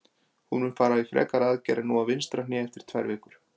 Hann mun fara í frekari aðgerð en nú á vinstra hné eftir tvær vikur.